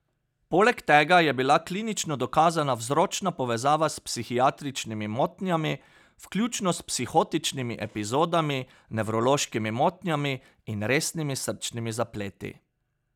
Poleg tega je bila klinično dokazana vzročna povezava s psihiatričnimi motnjami, vključno s psihotičnimi epizodami, nevrološkimi motnjami in resnimi srčnimi zapleti.